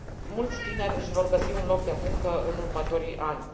mulți tineri își vor găsi un loc de muncă în următorii ani.